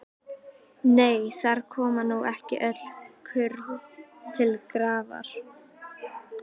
Nei, þar koma nú ekki öll kurl til grafar.